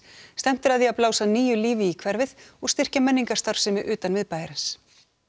stefnt er að því að blása nýju lífi í hverfið og styrkja menningarstarfsemi utan miðbæjarins